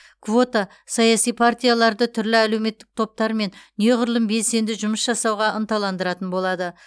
квота саяси партияларды түрлі әлеуметтік топтармен неғұрлым белсенді жұмыс жасауға ынталандыратын болады